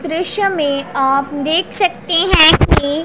दृश्य में आप देख सकते है कि--